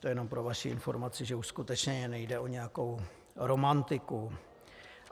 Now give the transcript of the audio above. To jenom pro vaši informaci, že už skutečně nejde o nějakou romantiku.